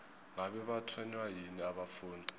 ngabe batshwenywa yini abafundi